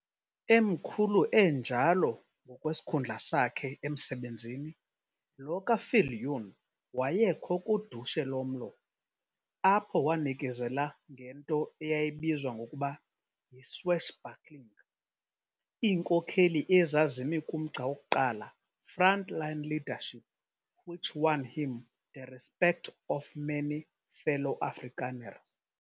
Emkhulu enjalo ngokwesikhundla sakhe emsebenzini, lo kaViljoen wayekho kudushe lomlo, apho wanikezela ngento eyayibizwa ngokuba yi"swashbuckling", iinkokheli ezazimi kumgca wokuqala front-line leadership which won him the respect of many fellow Afrikaners.